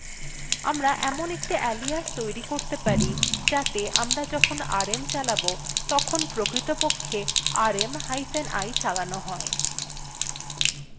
আমরা একটি alias তৈরী করতে পারি alias rm সমান চিন্হ quoteএর মধ্যে এখন rm space hyphen i লিখুন